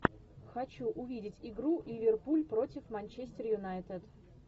хочу увидеть игру ливерпуль против манчестер юнайтед